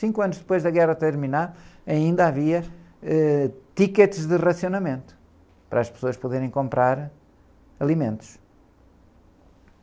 Cinco anos depois da guerra terminar, ainda havia, ãh, tickets de racionamento para as pessoas poderem comprar alimentos.